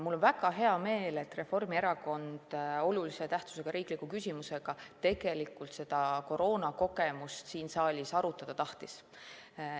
Mul on väga hea meel, et Reformierakond seda koroonakogemust siin saalis olulise tähtsusega riikliku küsimusena arutada tahtis.